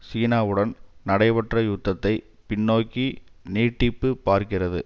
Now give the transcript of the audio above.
சீனாவுடன் நடைபெற்ற யுத்தத்தை பின்னோக்கி நீட்டிப் பார்க்கிறது